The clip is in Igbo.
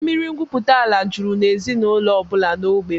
Mmiri ngwupụtaala juziri n'ezinụlọ ọbụla n'ógbè m